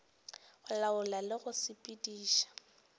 go laola le go sepediša